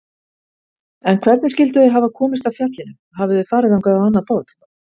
En hvernig skyldu þau hafa komist að fjallinu, hafi þau farið þangað á annað borð?